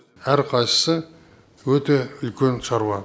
әр қайсысы өте үлкен шаруа